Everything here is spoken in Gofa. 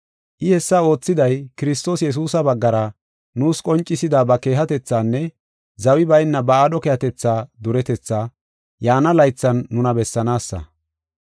I hessa oothiday, Kiristoos Yesuusa baggara nuus qoncisida ba keehatethaanne zawi bayna ba aadho keehatetha duretetha yaana laythan nuna bessanaasa.